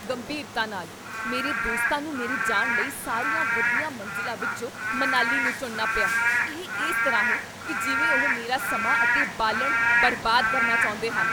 ਗੰਭੀਰਤਾ ਨਾਲ, ਮੇਰੇ ਦੋਸਤਾਂ ਨੂੰ ਮੇਰੇ ਜਾਣ ਲਈ ਸਾਰੀਆਂ ਵਧੀਆ ਮੰਜ਼ਿਲਾਂ ਵਿੱਚੋਂ ਮਨਾਲੀ ਨੂੰ ਚੁਣਨਾ ਪਿਆ। ਇਹ ਇਸ ਤਰ੍ਹਾਂ ਹੈ ਕੀ ਜਿਵੇਂ ਉਹ ਮੇਰਾ ਸਮਾਂ ਅਤੇ ਬਾਲਣ ਬਰਬਾਦ ਕਰਨਾ ਚਾਹੁੰਦੇ ਹਨ!